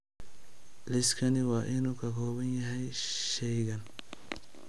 Liiskani waa inuu ka kooban yahay shaygan